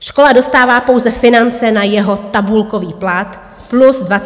Škola dostává pouze finance na jeho tabulkový plat plus 20 % navíc.